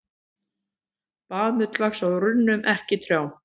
Baðmull vex á runnum, ekki trjám.